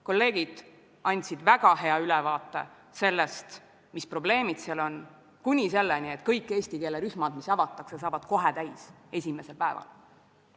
Kolleegid andsid väga hea ülevaate sellest, mis probleemid seal on, kuni selleni, et kõik eesti keele rühmad, mis avatakse, saavad kohe täis esimesel päeval.